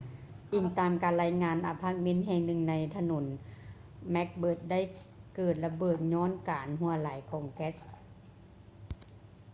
ອີງຕາມການລາຍງານ ອາພາດເມັນແຫ່ງໜຶ່ງໃນຖະໜົນ macbeth ໄດ້ເກີດລະເບີດຍ້ອນການຮົ່ວໄຫຼຂອງແກັສ